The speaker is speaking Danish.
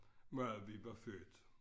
Hvor vi var født